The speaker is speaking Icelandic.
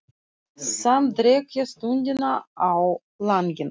Samt dreg ég stundina á langinn.